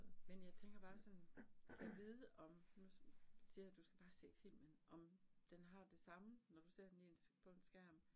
Men jeg tænker bare sådan, gad vide om, nu siger jeg, du skal bare se filmen, om den har det samme, når du ser den i en på en skærm